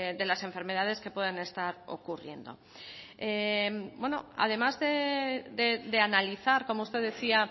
de las enfermedades que puedan estar ocurriendo además de analizar como usted decía